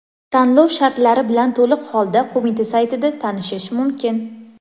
Tanlov shartlari bilan to‘liq holda qo‘mita saytida tanishish mumkin.